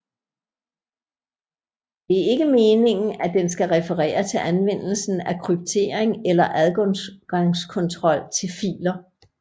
Det er ikke meningen at den skal referere til anvendelsen af kryptering eller adgangskontrol til filer